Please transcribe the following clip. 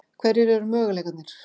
Hverjir eru möguleikarnir?